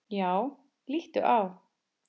Já, líttu á.